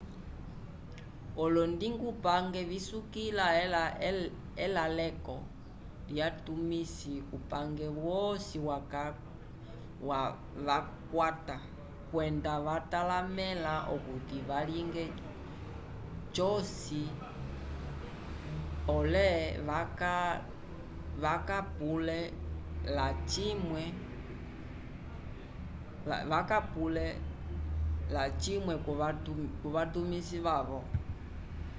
olondingupange visukila elaleko lyatumisi kupange wosi vakakwata kwenda vatalamẽla okuti valinge cosi pole kavakapule lacimwe kuvatumisi vyavo